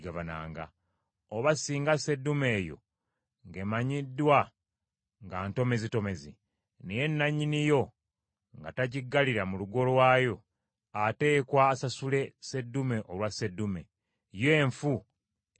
Oba singa seddume eyo ng’emanyiddwa nga ntomezitomezi, naye nannyini yo nga tagiggalira mu lugo lwayo, ateekwa asasule seddume olwa seddume, yo enfu eneebanga yiye.